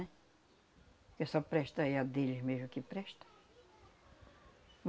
Né? Porque só presta é a deles mesmo que presta.